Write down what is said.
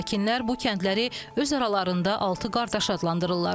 Sakinlər bu kəndləri öz aralarında altı qardaş adlandırırlar.